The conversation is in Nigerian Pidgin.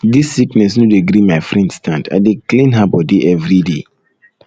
dis sickness no dey gree my friend stand i dey clean her bodi everyday